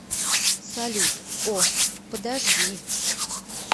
салют о подожди